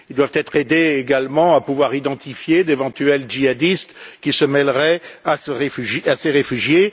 Ils doivent être aidés également à pouvoir identifier d'éventuels djihadistes qui se mêleraient à ces réfugiés.